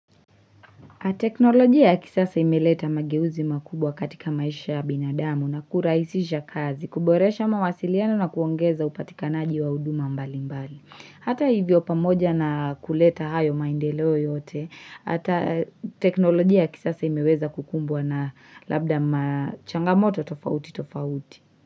Teknolojia ya kisasa imeleta mageuzi makubwa katika maisha ya binadamu na kuraisisha kazi, kuboresha mawasiliano na kuongeza upatikanaji wa uduma mbali mbali. Hata hivyo pamoja na kuleta hayo maindeleo yote, hata teknolojia ya kisasa imeweza kukumbwa na labda machangamoto tofauti tofauti.